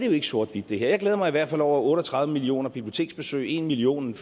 jo ikke sort hvidt jeg glæder mig i hvert fald over otte og tredive million biblioteksbesøg en million